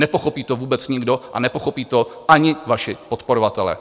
Nepochopí to vůbec nikdo a nepochopí to ani vaši podporovatelé.